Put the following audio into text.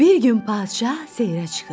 Bir gün padşah seyrə çıxır.